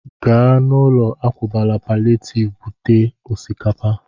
Gaa n'ụlọ akwakọbara palịetivu bute osikapa!